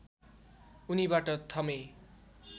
उनीबाट थमे